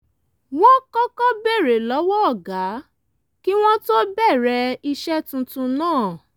wọ́n kọ́kọ́ béèrè lọ́wọ́ ọ̀gá kí wọ́n tó bẹ̀rẹ̀ iṣẹ́ tuntun náà